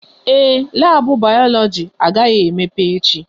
Ee, labu Bayoloji agaghị emepe echi